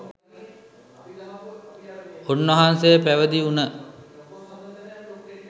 උන්වහන්සේ පැවිදිවුන